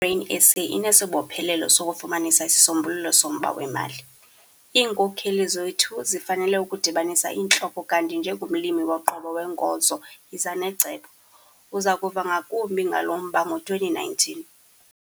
I-Grain SA inesibophelelo sokufumanisa isisombululo somba wemali. Iinkokeli zethu zifanele ukudibanisa iintloko kanti njengomlimi woqobo weenkozo yiza necebo. Uza kuva ngakumbi ngalo mba ngo-2019.